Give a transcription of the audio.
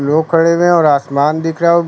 लोग खड़े हुए हैं और आसमान दिख रहा है और--